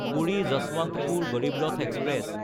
Puri-Yesvantpur Garib Rath express